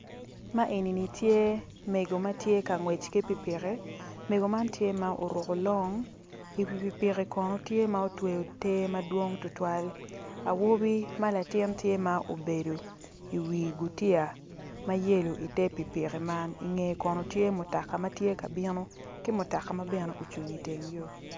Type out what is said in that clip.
Ma enini tye mego ma tye ka ngwec ki pikipiki mego man tye ma oruko long iwi pikipiki kono tye ma otweyo te madwong tutwal awobi ma latini tye ma obedo iwi gutiya ma yelo ite pikipiki man ingeye kono tye mutoka ma tye ka bino ki mutoka ma bene ocung iteng yo.